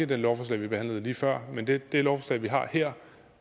det lovforslag vi behandlede lige før men det det lovforslag vi har her